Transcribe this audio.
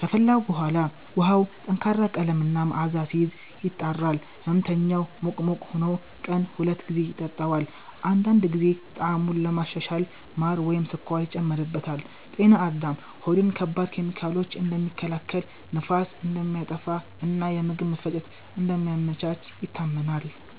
ከፈላ በኋላ ውሃው ጠንካራ ቀለም እና መዓዛ ሲይዝ፣ ይጣራል። ሕመምተኛው ሙቅ ሙቅ ሆኖ ቀን ሁለት ጊዜ ይጠጣዋል። አንዳንድ ጊዜ ጣዕሙን ለማሻሻል ማር ወይም ስኳር ይጨመርበታል። “ጤና አዳም” ሆድን ከባድ ኬሚካሎች እንደሚከላከል፣ ንፋስን እንደሚያጠፋ እና የምግብ መፈጨትን እንደሚያመቻች ይታመናል።